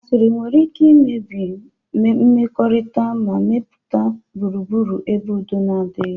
Asịrị nwere ike imebi mmekọrịta ma mepụta gburugburu ebe udo na-adighi.